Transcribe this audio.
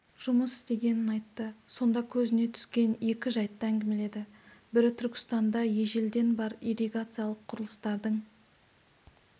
жұмыс істегенін айтты сонда көзіне түскен екі жәйтті әңгімеледі бірі түркістанда ежелден бар ирригациялық құрылыстардың